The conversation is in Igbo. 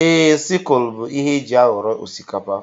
Ee, sikul bụ ihe éjị aghọrọ osikapa.